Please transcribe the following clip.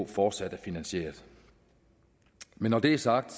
fortsat er finansieret men når det er sagt